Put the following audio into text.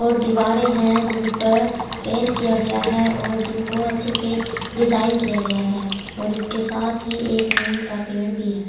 और दीवारें हैं जिन पर पेंट किया गया है और जिनको अच्छे से डिजाइन किया गया हैऔर इसके साथ ही एक नीम का पेड़ भी है।